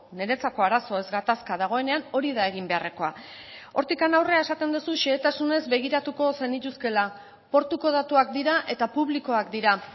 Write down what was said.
niretzako arazo ez gatazka dagoenean hori da egin beharrekoa hortik aurrera esaten duzu xehetasunez begiratuko zenituzkeela portuko datuak dira eta publikoak dira